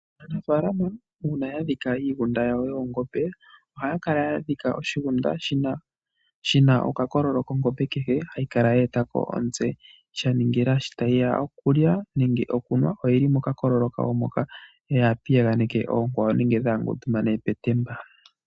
Aanafalama uuna ya dhika iigunda yawo yoongombe ohaya kala ya dhika oshigunda shi na okakololo kongombe kehe hayi kala ye etako omutse sha ningila sho tayi ya okulya nenge okunwa oyili mokakololo kayo moka yaapiyaganeke oonkwawo nenge dhaangundumane petemba.